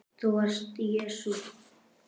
ÞÚ VARST JESÚ